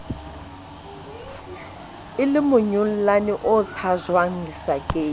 e lemonyollane o tshajwang lesakeng